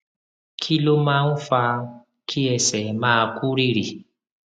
kí ló máa ń fa kí ẹsẹ máa kú rìrì